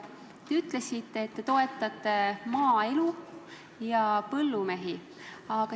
Te ütlesite, et te toetate maaelu ja põllumehi.